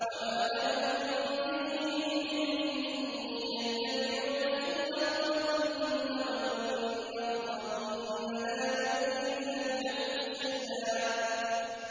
وَمَا لَهُم بِهِ مِنْ عِلْمٍ ۖ إِن يَتَّبِعُونَ إِلَّا الظَّنَّ ۖ وَإِنَّ الظَّنَّ لَا يُغْنِي مِنَ الْحَقِّ شَيْئًا